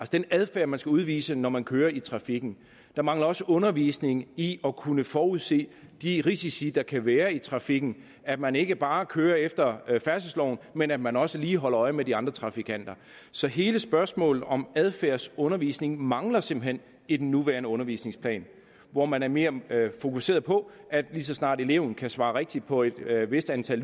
den adfærd man skal udvise når man kører i trafikken der mangler også undervisning i at kunne forudse de risici der kan være i trafikken at man ikke bare kører efter færdselsloven men at man også lige holder øje med de andre trafikanter så hele spørgsmålet om adfærdsundervisning mangler simpelt hen i den nuværende undervisningsplan hvor man er mere fokuseret på at lige så snart eleven kan svare rigtigt på et vist antal